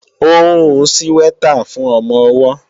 Ó ń hun síwẹ́tà fún ọmọ-ọwọ́